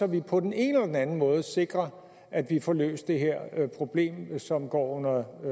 vi på den ene eller den anden måde sikrer at vi får løst det her problem som går under